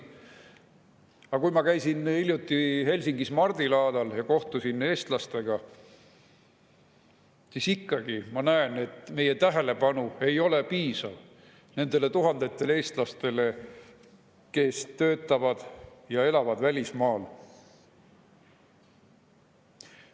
Aga kui ma käisin hiljuti Helsingis mardilaadal ja kohtusin eestlastega, siis ikkagi ma nägin, et meie tähelepanu ei ole piisav nendele tuhandetele eestlastele, kes töötavad ja elavad välismaal.